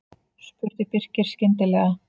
spurði Birkir skyndilega.